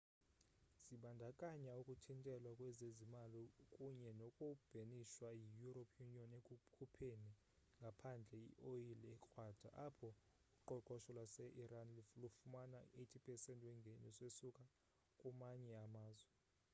zibandakanya ukuthintelwa kwezezimali kunye noku bhenishwa yi-european union ekukhupheni ngaphandle i-oyile ekrwada apho uqoqosho lwaseiran lufumana u-80% wengeniso esuka kumanye amazwe